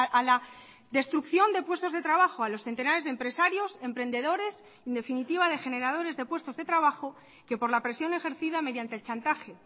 a la destrucción de puestos de trabajo a los centenares de empresarios emprendedores en definitiva de generadores de puestos de trabajo que por la presión ejercida mediante el chantaje